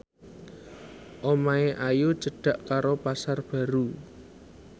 omahe Ayu cedhak karo Pasar Baru